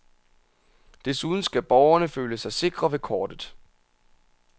Desuden skal borgerne føle sig sikre ved kortet.